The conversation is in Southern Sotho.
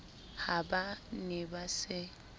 ha ba ne ba se